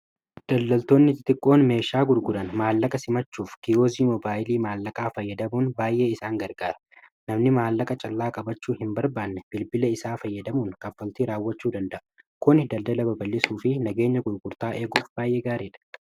daldaltoonni tixiqqoon meeshaa gurgudan maallaqa simachuuf kiyozii mobaayilii maallaqaa fayyadamuun baay'ee isaan gargaara namni maallaqa callaa qabachuu hin barbaanne bilbila isaa fayyadamuun kafaltii raawwachuu danda'u kun daldala babal'isuu fi nageenya gurgurtaa eeguuf baay'ee gaareedha